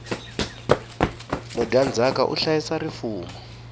mudyandzaka u hlayisa rifumo